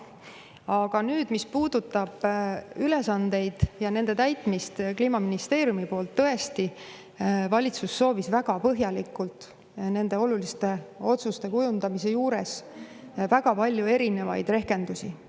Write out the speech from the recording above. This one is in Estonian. Aga mis puudutab ülesandeid ja nende täitmist Kliimaministeeriumi poolt, siis tõesti, valitsus soovis nende oluliste otsuste kujundamisel saada väga põhjalikke erinevaid rehkendusi.